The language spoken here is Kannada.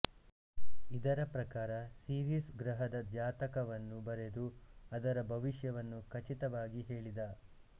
ಇದರ ಪ್ರಕಾರ ಸಿರಿಸ್ ಗ್ರಹದ ಜಾತಕವನ್ನು ಬರೆದು ಅದರ ಭವಿಷ್ಯವನ್ನು ಖಚಿತವಾಗಿ ಹೇಳಿದ